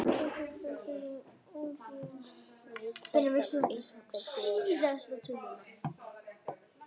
Veit þetta einhver hér?